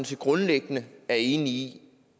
set grundlæggende er enige i